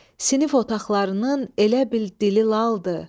Sinif otaqlarının elə bil dili laldır.